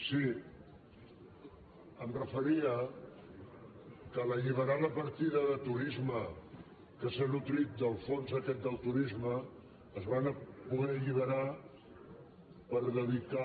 sí em referia que en alliberar la partida de turisme que s’ha nodrit del fons aquest del turisme es van poder alliberar per dedicar